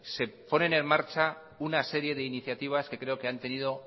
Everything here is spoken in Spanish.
se ponen en marcha una serie de iniciativas que creo que han tenido